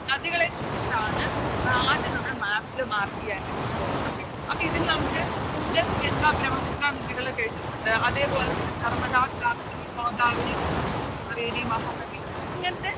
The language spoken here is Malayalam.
നദികളെ കുറിച്ചിട്ടാണ് ആദ്യം നമ്മള് Map ൽ Mark ചെയ്യാനായിട്ട് പോകുന്നത് Okay അപ്പൊ ഇതില് നമുക്ക് ഇൻഡസ് ഗംഗ ബ്രമ്മപുത്ര നദികളൊക്കെ എഴുതിട്ടുണ്ട് അതേപോലെതന്നെ നർമ്മദ താപ്തി ഗോദാവരി കാവേരി മഹാനദി ഇങ്ങനത്തെ